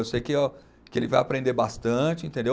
Eu sei que o, que ele vai aprender bastante, entendeu?